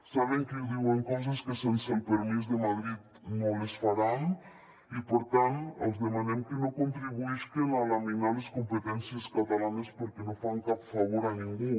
saben que diuen coses que sense el permís de madrid no les faran i per tant els demanem que no contribuïsquen a laminar les competències catalanes perquè no fan cap favor a ningú